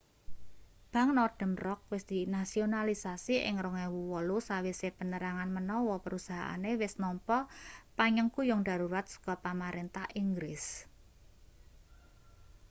bank northern rock wis dinasionalisasi ing 2008 sawise penerangan menawa perusahaane wis nampa panyengkuyung darurat saka pamarentah inggris